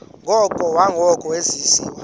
ngoko nangoko wenziwa